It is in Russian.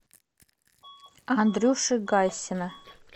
андрюши гайсина